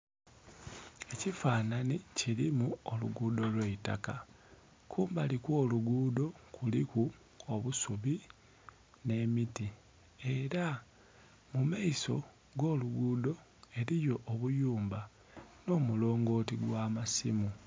Ekifanhanhi kilimu oluguudho lw'eitaka. Ku mbali kw'oluguudho kuliku obusubi nh'emiti. Ela mu maiso g'oluguudho eliyo obuyumba nh'omulongooti gw'amasimu.